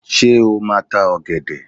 Ṣé o máa tá ọ̀gẹ̀dẹ̀?